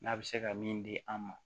N'a bɛ se ka min di an ma